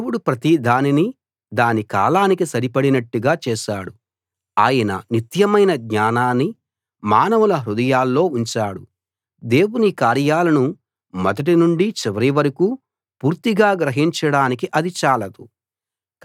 దేవుడు ప్రతి దానినీ దాని కాలానికి సరిపడినట్టుగా చేశాడు ఆయన నిత్యమైన జ్ఞానాన్ని మానవుల హృదయాల్లో ఉంచాడు దేవుని కార్యాలను మొదటి నుండి చివరి వరకూ పూర్తిగా గ్రహించడానికి అది చాలదు